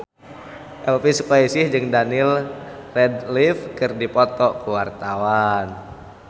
Elvi Sukaesih jeung Daniel Radcliffe keur dipoto ku wartawan